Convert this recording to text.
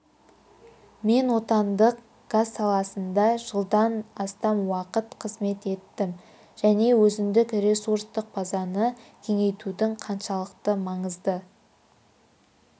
мен отандық газ саласында жылдан астам уақыт қызмет еттім және өзіндік ресурстық базаны кеңейтудің қаншалықты маңызды